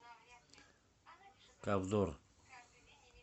ковдор